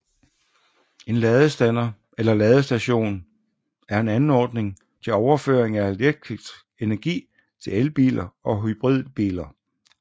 En ladestander eller ladestation er en anordning til overføring af elektrisk energi til elbiler og hybridbiler